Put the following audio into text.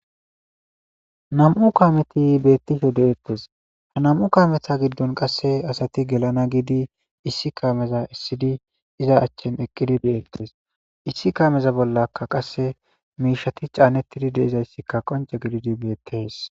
nam7u kaameti beettishe de'eettes ha nam7u kameza giddon qasse asati gelana giidi issi kaameza issidi iza achchen eqqidi beettes issi kaameza bollaka qasse miishati caanettidi de'izayssikka qonce gididi beettes